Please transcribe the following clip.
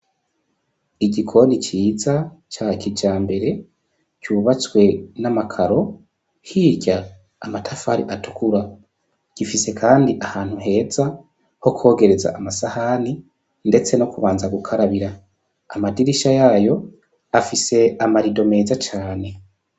igikoni ciza ca kijambere cubatswe n'amakaro hirya amatafari atukura gifise kandi ahantu heza ho kogereza amasahani ndetse no kubanza gukarabira, amadirisha yayo afise amarido meza cane.